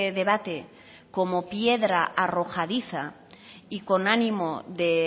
debate como piedra arrojadiza y con ánimo de